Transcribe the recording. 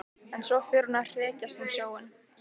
En svo fer hún að hrekjast um sjóinn.